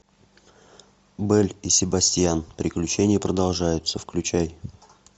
белль и себастьян приключения продолжаются включай